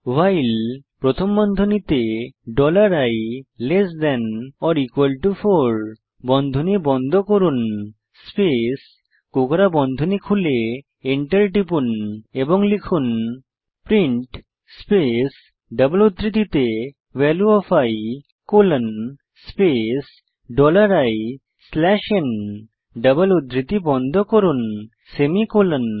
ভাইল প্রথম বন্ধনীতে dollar i less than or equal to 4 বন্ধনী বন্ধ করুন স্পেস কোঁকড়া বন্ধনী খুলে Enter টিপুন এবং লিখুন প্রিন্ট স্পেস ডবল উদ্ধৃতিতে value of i colon space dollar i slash n double উদ্ধৃতি বন্ধ করুন সেমিকোলন